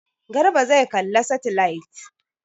Garba zai kalla saitilait.